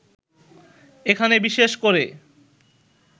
এখানে বিশেষ করে